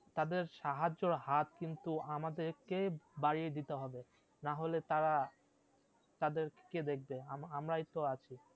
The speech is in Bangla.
তাদের সাহায্যের হাত কিন্তু আমাদের কে বাড়িয়ে দিতে হবে, না হলে তারা তাদের কে দেখবে? আম আমারই তো আছি